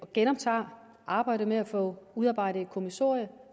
genoptager arbejdet med at få udarbejdet et kommissorium